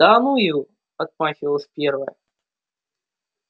да ну его отмахивалась первая